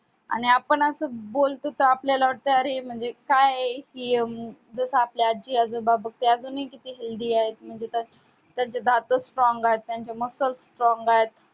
आणि आपण आता असं बोलतो तर आपल्याला वाटत कि अरे काय आहे जस आपले आजी आजोबा बघ ते अजूनही किती healthy आहेत म्हणजे त्यांचे दातच strong आहेत त्यांचे mussels strong आहेत